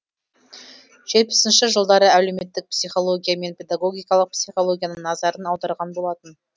жетпісінші жылдары әлеуметтік психология мен педагогикалық психологияның назарын аударған болатын